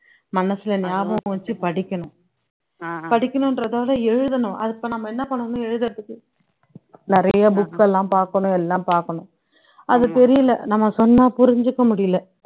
மனசுல ஞாபகம் வச்சு படிக்கணும் படிக்கணுன்றத விட எழுதணும் அத இப்ப என்ன பண்ணணும் எழுதுறதுக்கு நிறைய books எல்லாம் பாக்கணும் எல்லாம் பாக்கணும் அது தெரியல நம்ம சொன்னா புரிஞ்சுக்க முடியல